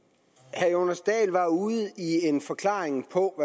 herre jonas dahl var ude i en forklaring på